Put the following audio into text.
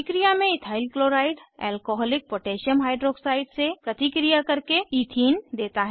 अभिक्रिया में ethyl chloride alcoholic potassium hydroxide से प्रतिक्रिया करके ईथीन देता है